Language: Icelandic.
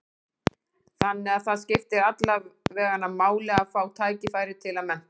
Þannig að það skiptir alla veganna máli að fá tækifæri til að mennta sig?